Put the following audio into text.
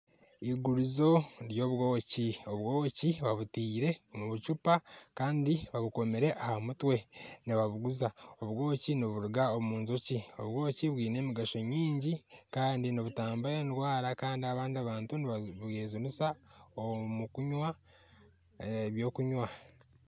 Igurizo ry'obwoki. Obwoki babuteire omu bucupa kandi babukomiire aha mutwe nibabuguza. Obwoki niburuga omu njoki. Obwoki bwine emigasho mingi kandi nibutamba endwara kandi n'abandi bantu nibabwejunisa omu kunwa ebyokunwa.